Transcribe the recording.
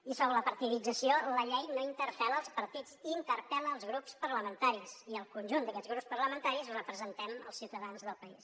i sobre la partidització la llei no interpel·la els partits interpel·la els grups parlamentaris i el conjunt d’aquests grups parlamentaris representem els ciutadans del país